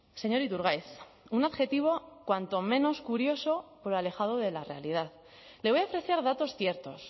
señor iturgaiz un objetivo cuanto menos curioso pero alejado de la realidad le voy a ofrecer datos ciertos